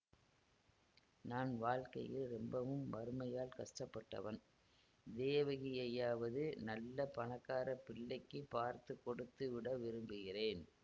நான் வாழ்க்கையில் ரொம்பவும் வறுமையால் கஷ்டப்பட்டவன் தேவகியையாவது நல்ல பணக்கார பிள்ளைக்கு பார்த்து கொடுத்து விட விரும்புகிறேன்